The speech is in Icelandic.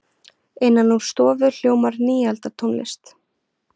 Innan úr stofu hljómar nýaldartónlist.